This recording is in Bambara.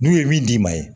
N'u ye min d'i ma ye